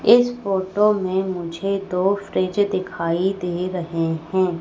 इस फोटो में मुझे दो फ्रिज दिखाई दे रहे हैं।